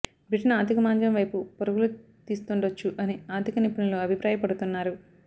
Britain ఆర్ధిక మాంద్యం వైపు పరుగులు తీస్తుండొచ్చు అని ఆర్ధిక నిపుణులు అభిప్రాయ పడుతున్నారు